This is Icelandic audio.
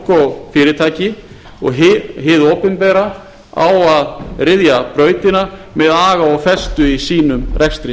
og fyrirtæki og hið opinbera á að ryðja brautina með aga og festu í sínum rekstri